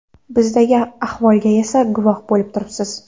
Bizdagi ahvolga esa guvoh bo‘lib turibsiz.